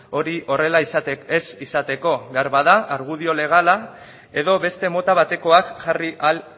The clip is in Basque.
hori horrela ez izateko behar bada argudio legala edo beste mota batekoak jarri ahal